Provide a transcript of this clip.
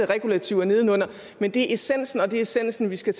regulativer nedenunder men det er essensen og det er essensen vi skal